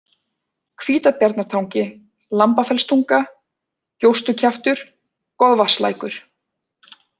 Hvítbjarnartangi, Lambafellstunga, Gjóstukjaftur, Goðvatnslækur